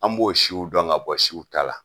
An b'o siw dɔn ka bɔ siw ta la.